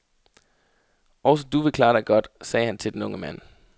Også du vil klare dig godt, sagde han til den unge mand.